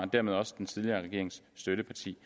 dermed også den tidligere regerings støtteparti